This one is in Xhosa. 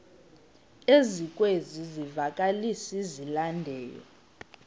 ezikwezi zivakalisi zilandelayo